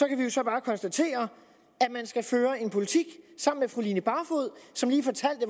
kan vi jo så bare konstatere at man skal føre en politik sammen med fru line barfod som lige fortalte